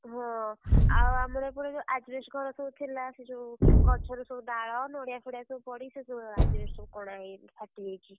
ହଁ ଆଉ ଆମର ଏପଟେ ଯୋଉ asbestos ଘର ସବୁ ଥିଲା। ସେ ଯୋଉ, ଗଛରୁ ସବୁ ଡାଳ, ନଡିଆଫଡିଆ ସବୁ ପଡିକି ସେ asbestos ସବୁ କଣା ହେଇଯାଇଛି ଫାଟିଯାଇଛି।